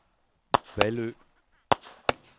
Vallø